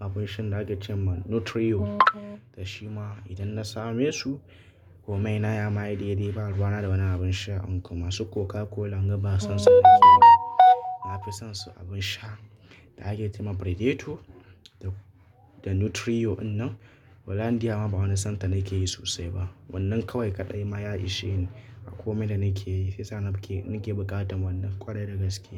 abin shan da aka ce ma Nutrio, da shi ma idan na same su komai na ma yayi dai dai, ba ruwa na da wani abin sha in kuma su Coca-Cola ban son su nake ba. Na fi son abin sha da ake ce ma Predator da, da Nutrio in nan. Hollandia ma bani son ta na ke yi sosai ba. Wannan kawai kaɗai ma ya ishe ni a komai da na ke yi. Fisa na ke, buƙatan wannan ƙwarai da gaske.